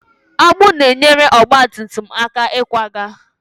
Agbụ na-enyere ọgba tum tum aka ịkwaga.